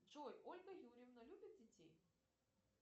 джой ольга юрьевна любит детей